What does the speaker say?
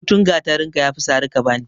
Gutun gatarinka ya fi sari ka ba ni.